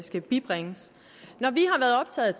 skal bibringes når vi har været optaget